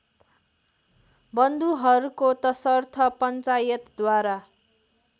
बन्धुहरूको तसर्थ पन्चायतद्वारा